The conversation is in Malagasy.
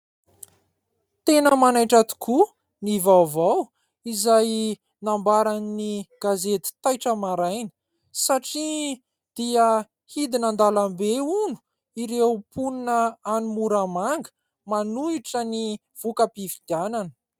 Tena manaitra tokoa ny vaovao izay nambaran'ny gazety Taitra Maraina satria dia hidina an-dàlambe hono ireo mponina any Moramanga manohitra ny vokam-pifidianana.